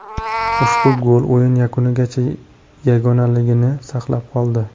Ushbu gol o‘yin yakunigacha yagonaligini saqlab qoldi.